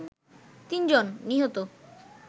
তিনজন নিহত